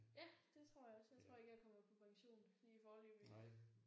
Ja det tror jeg også jeg tror ikke jeg kommer på pension lige foreløbigt